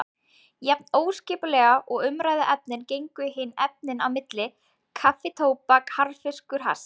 Jafn óskipulega og umræðuefnin gengu hin efnin á milli: kaffi tóbak harðfiskur hass.